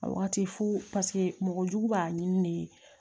A wagati fo paseke mɔgɔ jugu b'a ɲini de ye